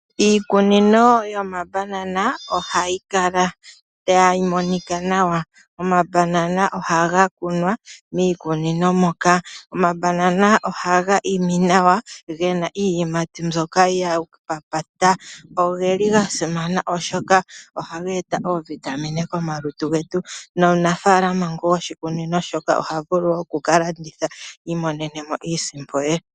Iikunino yomabanana ohayi kala tayi monika nawa. Omabanana ohaga kunwa miikunino moka. Omabanana ohaga imi nawa ge na iiyimati mbyoka ya papata. Oge li ga simana oshoka ohaga eta oovitamine momalutu getu nomunafaalama goshikununo shoka oha vulu okuka landitha i imonene mo iisimpo ye.